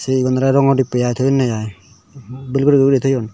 yea ole rongo dibbe aai thoyunne aai bel bel guri guri thoyun.